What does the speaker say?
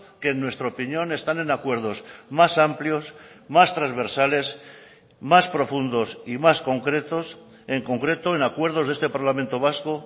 que en nuestra opinión están en acuerdos más amplios más transversales más profundos y más concretos en concreto en acuerdos de este parlamento vasco